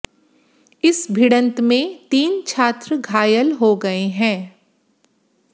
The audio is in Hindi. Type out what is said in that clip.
इस भिड़ंत में तीन छात्र घायल हो गए हैं